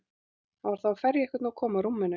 Hann var þá að ferja einhvern og kom að rúminu mínu.